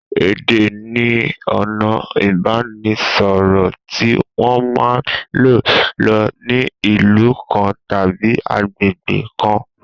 Èdé ni ona ìbánisọ̀rọ̀ tí wọn man lò ní ìlú kan tàbí àgbégbé kan